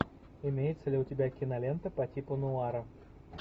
имеется ли у тебя кинолента по типу нуара